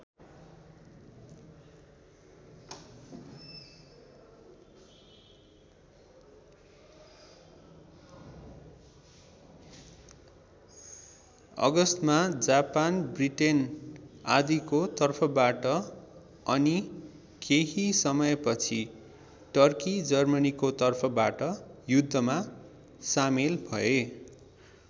अगस्तमा Japan Britain आदिको तर्फबाट अनि केही समयपछि टर्की जर्मनीको तर्फबाट युद्धमा सामेल भए।